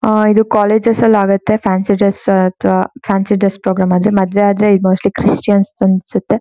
ಅಹ್ ಇದು ಕಾಲೇಜು ಅಲ್ಲಿ ಆಗುತ್ತೆ ಫ್ಯಾನ್ಸಿ ಡ್ರೆಸ್ ಅಥವಾ ಫ್ಯಾನ್ಸಿ ಡ್ರೆಸ್ ಪ್ರಾಬ್ಲೆಮ್ ಆದ್ರೆ ಮದ್ವೆ ಆದ್ರೆ ಮೋಸ್ಟ್ಲಿ ಕ್ರಿಸ್ಟಿಯಾನ್ಸ್ ಅನ್ಸುತ್ತೆ.